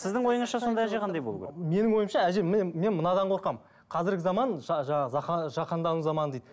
сіздің ойыңызша сонда әже қандай болу керек менің ойымша әже міне мен мынадан қорқамын қазіргі заман жаңағы жаһандану заманы дейді